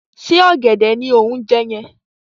Ṣé ọ̀gẹ̀dẹ̀ ni o ń jẹ́ yẹn?